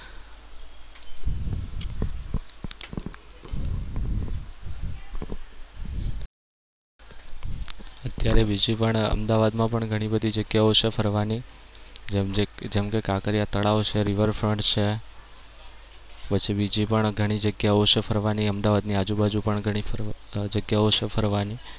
અત્યારે બીજી પણ અમદાવાદમાં પણ ઘણી બધી જગ્યાઓ છે ફરવાની જેમ જેમ કે કાંકરિયા તળાવ છે, river front પણ છે. પછી બીજી પણ ઘણી જગ્યાઓ છે ફરવાની અમદાવાદની આજુબાજુ પણ ઘણી ફરવા અમ જગ્યાઓ છે ફરવાની